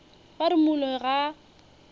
ba re moloi ga a